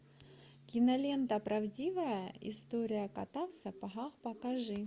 кинолента правдивая история кота в сапогах покажи